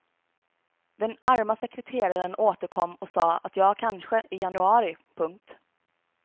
Den arma sekreteraren återkom och sa att ja kanske i januari. punkt